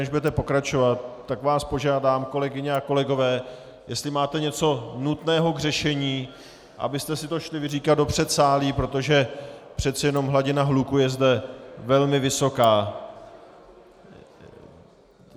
Než budete pokračovat, tak vás požádám, kolegyně a kolegové, jestli máte něco nutného k řešení, abyste si to šli vyříkat do předsálí, protože přece jenom hladina hluku je zde velmi vysoká.